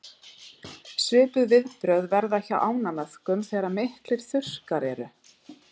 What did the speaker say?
Svipuð viðbrögð verða hjá ánamöðkum þegar miklir þurrkar eru.